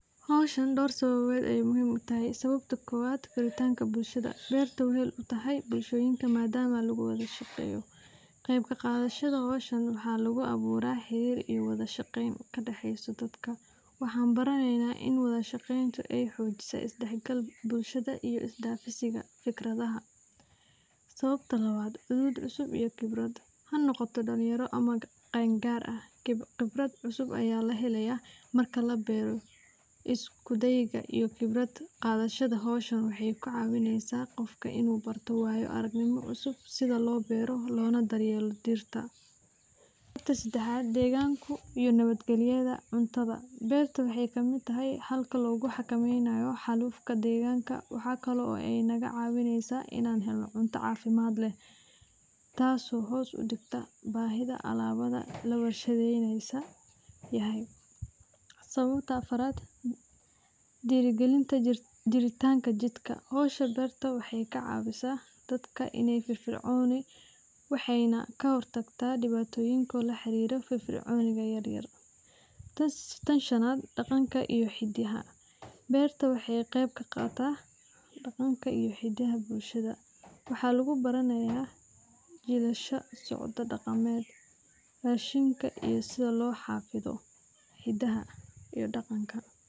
Howshan door sababo ayeey muhiim utahay, waxaa lagu abuura wada ahqeen, is daafsi fikra, khibrad cusub ayaa lahelaaya, waxeey kacawineysa waayo aragnimo cusub, cuntada waxeey kamid tahay, waxeey naga cawisa inaan helno cunto cafimaad leh, diiri galinta iyo jiritanka dirka, waxeey kahor tagaa, beerta waxeey tahay daaha bulshada, rashinka iyo sida loo xafido hidaha iyo daqanka.